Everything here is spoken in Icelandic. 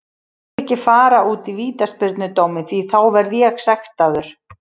Ég vil ekki fara út í vítaspyrnudóminn því þá verð ég sektaður.